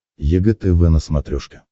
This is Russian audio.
егэ тв на смотрешке